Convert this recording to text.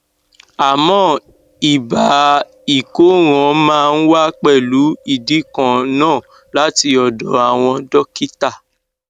àmọ ibà ìkóràn máa ń wá pẹlú ìdí kan náà láti ọdọ àwọn dọkítà